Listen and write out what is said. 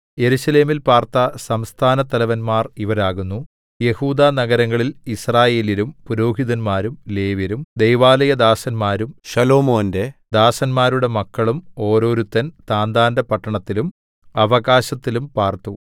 യെരൂശലേമിൽ പാർത്ത സംസ്ഥാനത്തലവന്മാർ ഇവരാകുന്നു യെഹൂദാ നഗരങ്ങളിൽ യിസ്രായേല്യരും പുരോഹിതന്മാരും ലേവ്യരും ദൈവാലയദാസന്മാരും ശലോമോന്റെ ദാസന്മാരുടെ മക്കളും ഓരോരുത്തൻ താന്താന്റെ പട്ടണത്തിലും അവകാശത്തിലും പാർത്തു